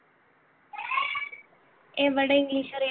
എവിടെ english അറിയാം